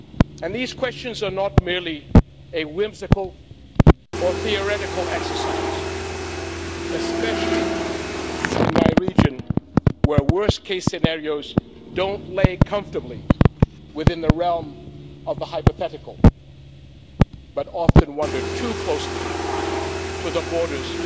And these questions are not merely a whimsical or a theoretical exercise especially in my region, where worst case scenarios don't lie comfortably within the realm of the hypothetical but often wander too closely to the borders